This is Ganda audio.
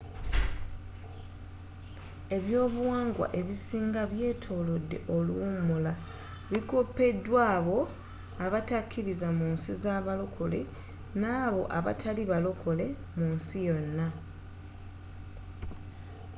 eby'obuwangwa ebisinga ebyetolodde oluwummula bikopeddwa abo abatakkiriza munsi za balokole nabo abatali balokole munsi yonna